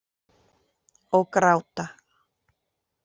Og gráta.